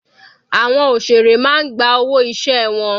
Àwọn òṣèré máa ń gba owó iṣẹ́ wọn.